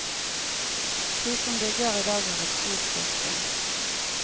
De som bygger i dag har et stort fortrinn.